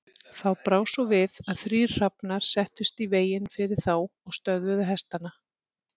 Þá brá svo við að þrír hrafnar settust í veginn fyrir þá og stöðvuðu hestana.